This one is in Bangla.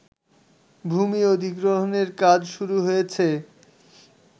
ভূমি অধিগ্রহণের কাজ শুরু হয়েছে